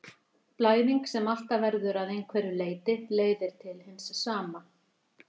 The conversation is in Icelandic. Blæðing sem alltaf verður að einhverju leyti leiðir til hins sama.